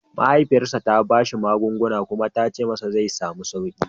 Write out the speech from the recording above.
Mahaifiyarsa ta ba shi magunguna kuma ta ce zai samu sauƙi